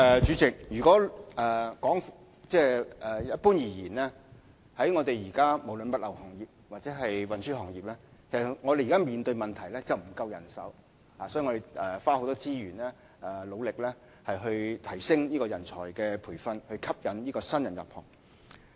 主席，一般而言，不論是在物流業或運輸行業，我們現時均面對人手不足的問題，因此我們要花很多資源來努力提升人才培訓的工作，以吸引新人入行。